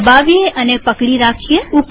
તેને દબાવીએ અને પકડી રાખીએ